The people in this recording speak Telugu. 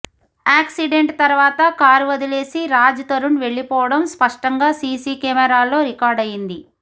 ఆక్సిడెంట్ తర్వాత కార్ వదిలేసి రాజ్ తరుణ్ వెళ్లిపోవడం స్పష్టంగా సీసీ కెమెరాల్లో రికార్డ్ అయ్యింది